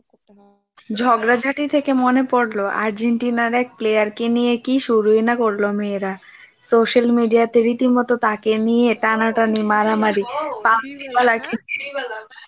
ঝগড়াঝাঁটি থেকে মনে পড়ল আর্জেন্টিনার এক player কে নিয়ে কি শুরুই না করলো মেয়েরা, social media তে রীতিমতো তাকে নিয়ে টানাটানি মারামারি